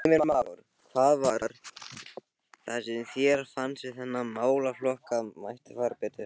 Heimir Már: Hvað var það sem þér fannst við þennan málaflokk að mætti fara betur?